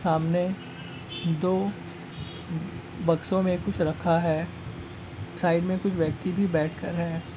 सामने दो ब-बक्सों में कुछ रखा है। साइड में कुछ व्यक्ति भी बैठ कर हैं।